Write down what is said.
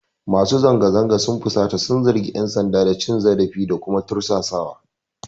Masu zanga-zangar sun fusata sun zargi ƴan sanda da cin zarafi da kuma tursasawa.